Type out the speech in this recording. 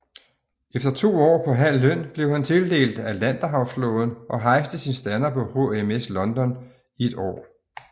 Efter to år på halv løn blev han tildelt Atlanterhavsflåden og hejste sin stander på HMS London i et år